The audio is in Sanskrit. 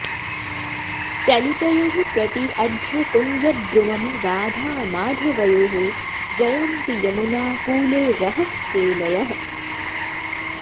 चलितयोः प्रति अध्व कुंज द्रुमम् राधा माधवयोः जयन्ति यमुना कूले रहः केलयः